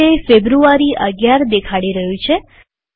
અહીં તે ફેબ્રુઆરી ૧૧ દેખાડી રહ્યું છે